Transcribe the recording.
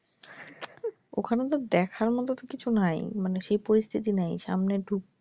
ওখানে তো দেখার মতো তো কিছু নাই মানে সেই পরিস্থিতি নামি মানে সামনে ঢুকতে,